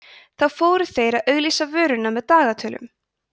þá fóru þeir að auglýsa vöruna með dagatölum